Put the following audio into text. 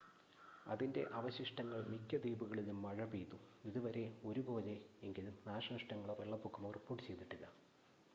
അതിൻ്റെ അവശിഷ്ടങ്ങൾ മിക്ക ദ്വീപുകളിലും മഴ പെയ്തു ഇതുവരെ ഒരു പോലെ എങ്കിലും നാശനഷ്ടങ്ങളോ വെള്ളപ്പൊക്കമോ റിപ്പോർട്ട് ചെയ്തിട്ടില്ല